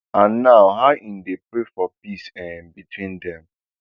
and how im dey pray for peace um between dem